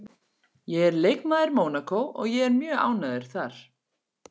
Ég er leikmaður Mónakó og ég er mjög ánægður þar